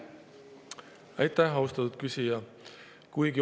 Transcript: Aitäh, austatud küsija!